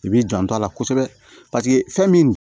I b'i janto a la kosɛbɛ paseke fɛn min